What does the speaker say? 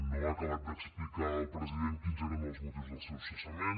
no ha acabat d’explicar el president quins eren els motius del seu cessament